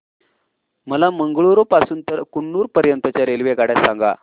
मला मंगळुरू पासून तर कन्नूर पर्यंतच्या रेल्वेगाड्या सांगा